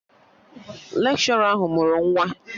Lekshọra ahụ mụrụ nwa